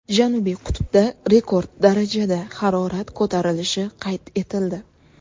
Janubiy qutbda rekord darajada harorat ko‘tarilishi qayd etildi.